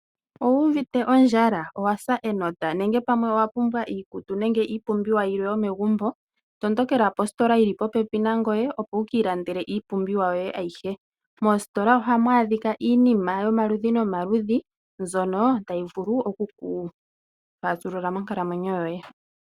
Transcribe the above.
Owu uvite ondjala, owasa enota nenge pamwe owa pumbwa iikutu nenge pamwe iipumbiwa yilwe yomegumbo tondokela positola yili popepi nangoye opo wu kiilandele iipumbiwa yoye ayihe. Moositola ohamu adhika iinima yomaludhi nomaludhi mbyono tayi vulu okukufaasulula monkalamwenyo yoye.